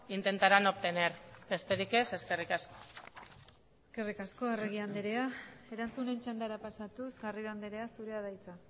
intentarán obtener besterik ez eskerrik asko eskerrik asko arregi andrea erantzunen txandara pasatuz garrido andrea zurea da hitza